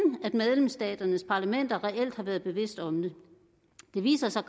at medlemsstaternes parlamenter reelt har været bevidst om det det viser sig